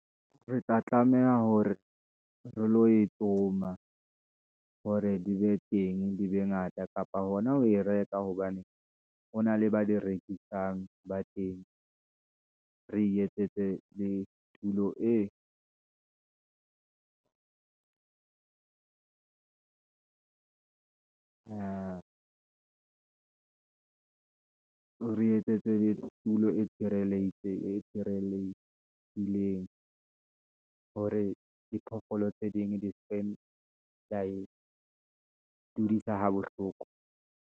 Re tla tlameha hore re lo e tsoma, hore di be teng di be ngata, kapa hona ho e reka, hobane hona le ba di rekisang ba teng. Re etsetse le tulo e , re etsetse tulo e tshireletseleng, hore diphoofolo tse ding, di seke tsae dudisa ha bohloko.